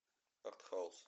артхаус